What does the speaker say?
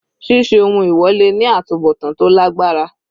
Ṣíṣe ohun èwọ̀ le ní àtubọ̀tán tó lágbára.